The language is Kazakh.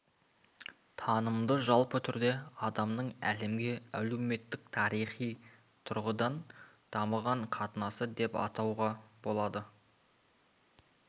танымды жалпы түрде адамның әлемге әлеуметтік тарихи тұрғыдан дамыған қатынасы деп анықтауға болады